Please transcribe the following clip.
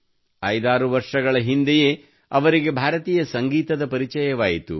56 ವರ್ಷಗಳ ಹಿಂದೆಯೇ ಅವರಿಗೆ ಭಾರತೀಯ ಸಂಗೀತದ ಪರಿಚಯವಾಯಿತು